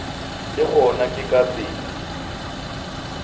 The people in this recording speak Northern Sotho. le gona ke ka tsela